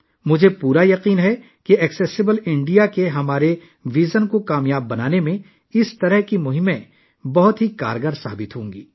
مجھے پورا بھروسہ ہے کہ ایسی مہمات قابل رسائی بھارت کے ہمارے وژن کو عملی جامہ پہنانے میں بہت کارآمد ثابت ہوں گی